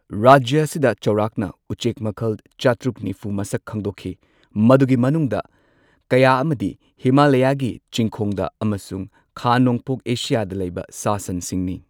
ꯔꯥꯖ꯭ꯌ ꯑꯁꯤꯗ ꯆꯥꯎꯔꯥꯛꯅ ꯎꯆꯦꯛ ꯃꯈꯜ ꯆꯥꯇ꯭ꯔꯨꯛ ꯅꯤꯐꯨ ꯃꯁꯛ ꯈꯪꯗꯣꯛꯈꯤ꯫ ꯃꯗꯨꯒꯤ ꯃꯅꯨꯡꯗ ꯀꯌꯥ ꯑꯃꯗꯤ ꯍꯤꯃꯥꯂꯌꯥꯒꯤ ꯆꯤꯡꯈꯣꯡꯗ ꯑꯃꯁꯨꯡ ꯈꯥ ꯅꯣꯡꯄꯣꯛ ꯑꯦꯁꯤꯌꯥꯗ ꯂꯩꯕ ꯁꯥ ꯁꯟꯁꯤꯡꯅꯤ꯫